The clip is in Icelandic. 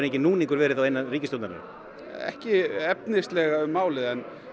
enginn núningur verið innan ríkisstjórnarinnar ekki efnislega um málið